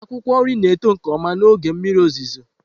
Akwụkwọ nri na-eto nke ọma n'oge mmiri ozuzo.